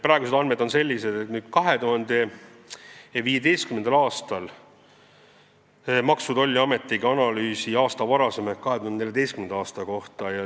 Praegused andmed on sellised, et 2015. aastal tegi Maksu- ja Tolliamet analüüsi 2014. aasta kohta.